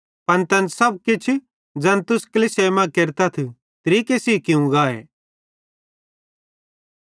पन तैन सब किछ ज़ैन तुस कलीसियाई मां केरतथ तरीके सेइं कियूं गाए